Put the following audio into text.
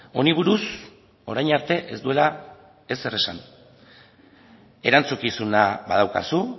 honi buruz orain arte ez duela ezer esan erantzukizuna badaukazu